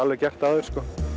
gert áður